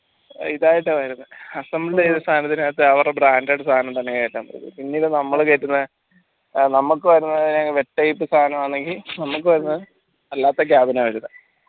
ഇതായിട്ടാണ് വരുന്നേ assemble തിട്ട് സാനം ഇതിനകത്ത് അവരുടെ branded തന്നെ പിന്നീട് നമ്മൾ കേറ്റുന്ന ഏർ നമ്മക്ക് വരുന്നെ type സായനല്ലെങ്കിൽ നമ്മക് വര്ണ അല്ലാത്ത വരുന്നെ